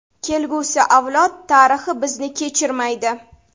Kelgusi avlod, tarix bizni kechirmaydi.